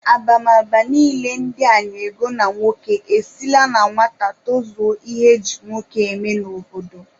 Abamaba niile ndị a na-ego na nwoke esila na nwata tozuo ihe e ji nwoke eme n'obodo.